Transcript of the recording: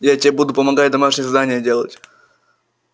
я тебе буду помогать домашнее задание делать